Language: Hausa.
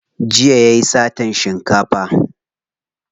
Jiya yayi satan shinkafa.